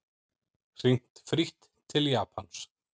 Hringt frítt til Japans